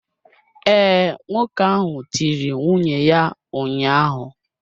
Ee, nwoke ahụ tiri nwunye ya ụnyahụ.